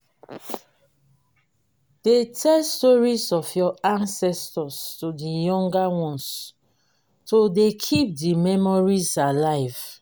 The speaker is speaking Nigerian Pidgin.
de tell stories of your ancestors to the younger ones to de keep the memories alive